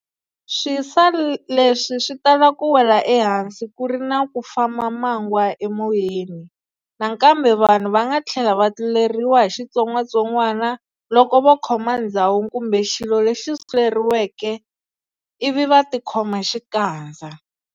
Swisa leswi swi tala ku wela ehansi kuri na ku famba mangwa emoyeni. Nakambe vanhu vanga thlela va tluleriwa hi xitsongwatsongwana, loko va khoma ndzhawu kumbe xilo lexi suleriweke ivi va tikhoma xikandza.